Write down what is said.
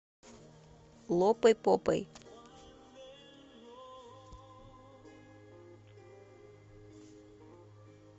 лопай попой